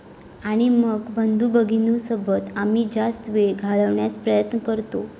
आणि मग, बंधुभगिनींसोबत आम्ही जास्त वेळ घालवण्याचा प्रयत्न करतो.